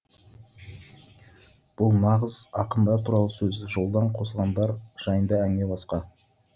бұл нағыз ақындар туралы сөз жолдан қосылғандар жайында әңгіме басқа